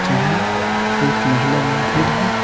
यहां एक महिला मौजूद है।